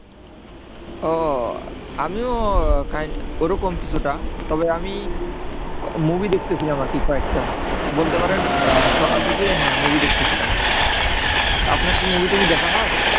উহ আমি কাইন্ড ওরকম কিছুটা, তবে আমি movie দেখতেছিলাম আরকি কয়েকটা। বলতে পারেন আহ সকাল থেকেই হ্যাঁ movie দেখতেছিলাম তো আপনার কি movie টুভি দেখা হয়?